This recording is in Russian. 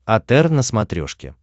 отр на смотрешке